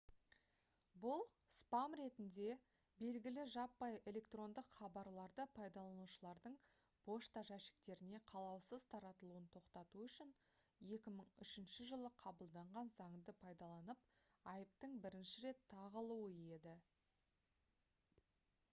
бұл «спам» ретінде белгілі жаппай электрондық хабарларды пайдаланушылардың пошта жәшіктеріне қалаусыз таратылуын тоқтату үшін 2003 жылы қабылданған заңды пайдаланып айыптың бірінші рет тағылуы еді